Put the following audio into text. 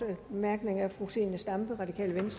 langt